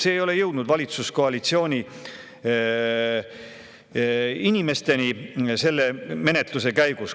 See ei ole menetluse käigus jõudnud valitsuskoalitsiooni inimesteni.